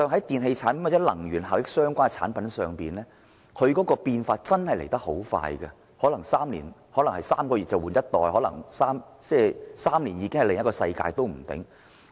電器產品或與能源效益相關的產品變化很快，可能3個月便換一代 ，3 年已是另一個世界。